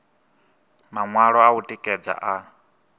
maṅwalo a u tikedza a